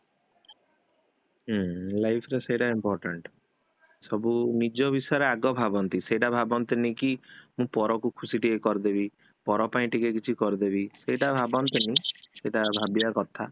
ହୁଁ life ରେ ସେଇଟା important, ସବୁ ନିଜ ବିଷୟରେ ଆଗ ଭାବନ୍ତି ସେଟା ଭାବନ୍ତିନି କି ମୁଁ ପର କୁ ଖୁସି ଟିକେ କରିଦେବୀ ପର ପାଇଁ ଟିକେ କିଛି କରିଦେବି ସେଟା ଭାନ୍ତିନି, ସେଟା ଭାବିବା କଥା